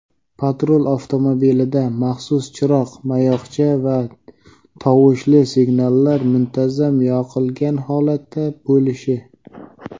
patrul avtomobilida maxsus chiroq-mayoqcha va tovushli signallar muntazam yoqilgan holatda bo‘lishi;.